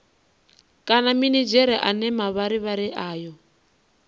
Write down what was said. kana minidzhere ane mavharivhari ayo